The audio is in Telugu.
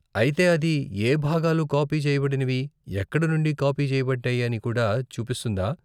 అయితే అది ఏ భాగాలు కాపీ చేయబడినవి, ఎక్కడి నుండి కాపీ చేయబడ్డాయి అని కూడా చూపిస్తుందా?